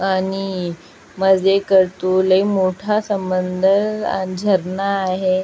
आणि मजे करतो लय मोठा झरणा आहे.